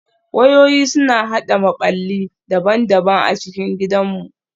Wayoyi suna haɗa maɓalli daban-daban a cikin gidanmu